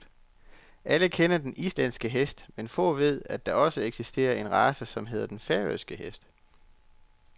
Alle kender den islandske hest, men få ved at der også eksisterer en race, som hedder den færøske hest.